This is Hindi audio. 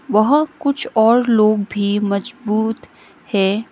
वह कुछ और लोग भी मजबूत है।